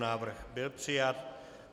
Návrh byl přijat.